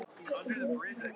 Þarna fæddist neisti.